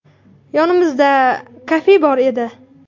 Yonimizda kafe bor edi.